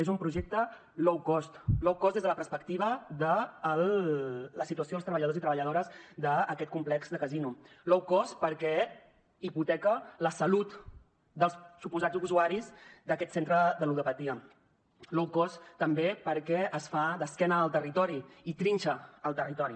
és un projecte low cost la situació dels treballadors i treballadores d’aquest complex de casino low cost perquè hipoteca la salut dels suposats usuaris d’aquest centre de ludopatia low costtambé perquè es fa d’esquena al territori i trinxa el territori